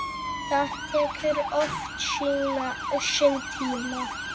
Það tekur oft sinn tíma.